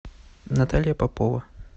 наталья попова